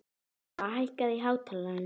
Silfa, hækkaðu í hátalaranum.